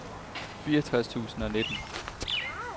fireogtres tusind og nitten